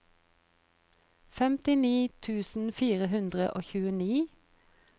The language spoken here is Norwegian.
femtini tusen fire hundre og tjueni